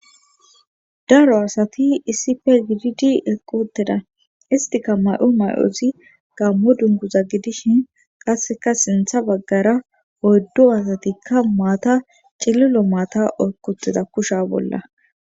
daro asati issife gididi equtida istika may7o may7ozi gammo dunguza gidishin qasseka sintha baggara oyddu asatikka maata cililo maata oykkutida kusha bolla.